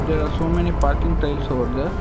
There are so many parking tiles over there.